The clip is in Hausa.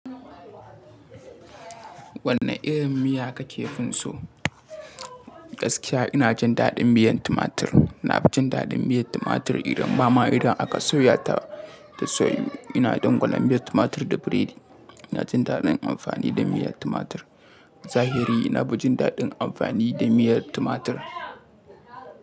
Wanne irin miya ka ke fin so? Gaskiya ina jin daɗin miyan tumatir. Na fi jin daɗin miyar tumatir idan ba ma idan aka soya ta da soyu. Ina dangwala miyar tumatir da biredi. Ina jin daɗin amfani da miyar tumatir. Zahiri nafi jin daɗin amfani da miyar tumatir.